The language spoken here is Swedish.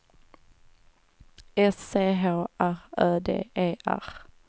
S C H R Ö D E R